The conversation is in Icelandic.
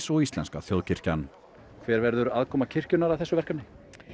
og íslenska þjóðkirkjan hver verður aðkoma kirkjunnar að þessu verkefni